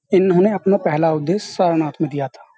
इन्होंने अपना पहला उद्देश्य सारनाथ में दिया था।